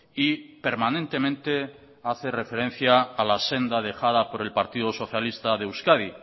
y permanentemente hace referencia a la senda dejada por el partido socialista de euskadi